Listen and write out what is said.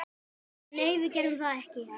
Nei, við gerðum það ekki.